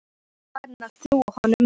Hún er farin að trúa honum.